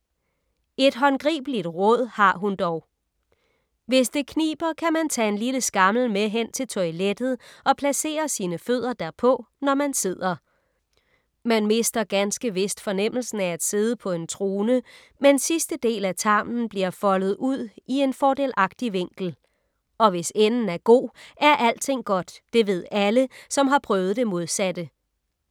Et håndgribeligt råd, har hun dog. Hvis det kniber, kan man tage en lille skammel med hen til toilettet og placere sine fødder derpå, når man sidder. Man mister ganske vist fornemmelsen af at sidde på en trone, men sidste del af tarmen bliver foldet ud en i fordelagtig vinkel. Og hvis enden er god, er alting godt. Det ved alle, som har prøvet det modsatte.